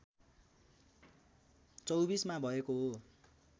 २४ मा भएको हो